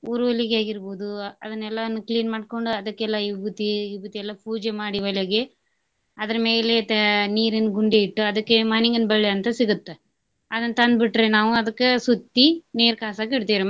ಉರುವಲಿಗಿಯಾರ್ಗಿಬಹುದು ಅದ್ನೇಲ್ಲಾನು clean ಮಾಡ್ಕೊಂಡ್ ಅದಕ್ಕೆಲ್ಲಾ ವಿಭೂತಿ ವಿಭೂತಿ ಎಲ್ಲಾ ಪೂಜೆ ಮಾಡಿ ಒಲೆಗೆ ಅದರ ಮೇಲೆ ತ~ ನೀರಿನ ಗುಂಡಿ ಇಟ್ಟು ಅದಕ್ಕೆ ಮಾನಿಂಗನ ಬಳ್ಳಿ ಅಂತ ಸಿಗುತ್ತ ಅದನ್ನ ತಂದ ಬಿಟ್ರೆ ನಾವು ಅದಕ್ಕ ಸುತ್ತಿ ನೀರ ಕಾಸಾಕ ಇಡ್ತೇವ್ರಿ.